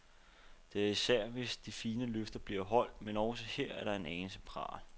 Det er især, hvis de fine løfter blev holdt, men også her er der en anelse pral.